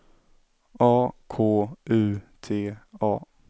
A K U T A